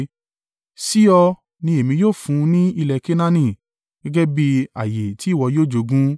“Sí ọ, ni èmi yóò fún ní ilẹ̀ Kenaani. Gẹ́gẹ́ bí ààyè tí ìwọ yóò jogún.”